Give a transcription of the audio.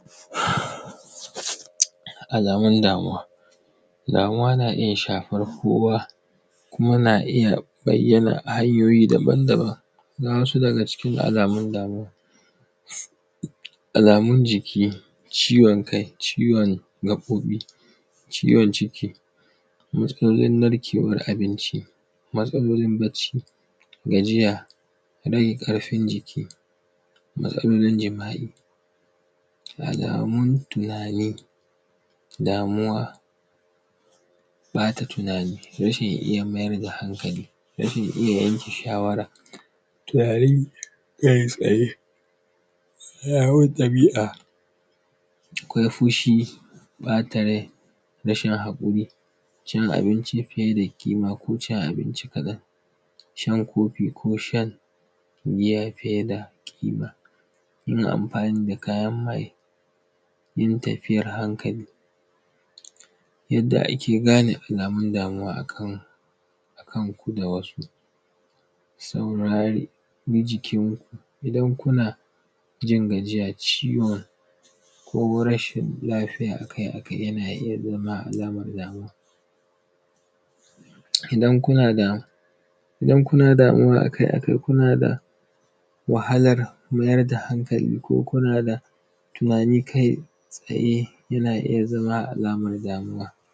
Alamun damuwa. Damuwa na iya shafar kowa, kuma na iya bayyana a hanyoyi daban-daban. Ga wasu daga cikin alamun damuwa, alamun jiki, ciwon kai, ciwon gaƃoƃi, ciwon ciki, matsalolin narkewar abinci, gajiya, rage ƙarfin jiki. Matsalolin jima’i, alamun tunani, damuwa, ƃata tunani, rashin iya mayar da hankali, rashin iya yanke shawara, tunani kai-tsaye. Alamun ɗabi’a, akwai fushi, ƃata rai, rashin kaƙuri, cin abinci fiye da kima ko cin abinci kaɗan, shan kofi ko shan wuya fiye da kima. Yin amfani da kayan maye, yin tafiyar hankali. Yanda ake gane alamun damuwa a kan; a kanku da wasu, saurari bi jikin bankuna, jin gajiya, ciwo. Ko rashin lafiya a kai a kai, yana iya zama; zama damuwa. Idan kuna da; idan kuna da damuwa a kai a kai, kuna da wahalar mayar da hankali ko kuna da tunani kai-tsaye, yana iya zama lamar damuwa.